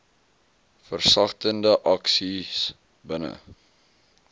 versagtende aksies binne